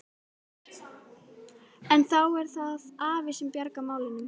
En þá er það afi sem bjargar málunum.